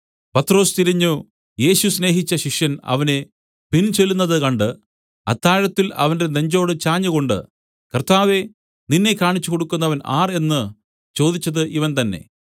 പത്രൊസ് തിരിഞ്ഞു യേശു സ്നേഹിച്ച ശിഷ്യൻ അവരെ പിൻചെല്ലുന്നത് കണ്ട് അത്താഴത്തിൽ അവന്റെ നെഞ്ചോട് ചാഞ്ഞുകൊണ്ട് കർത്താവേ നിന്നെ കാണിച്ചുകൊടുക്കുന്നവൻ ആർ എന്നു ചോദിച്ചത് ഇവൻ തന്നേ